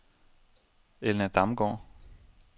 Elna Damgaard